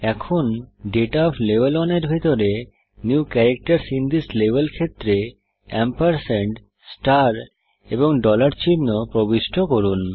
এখন data of level 1 এর ভিতরে এই লেভেল ক্ষেত্রে নিউ ক্যারাক্টারসহ এ এম্পরস্যান্ড ষ্টার এবং ডলার চিহ্ন প্রবিষ্ট করুন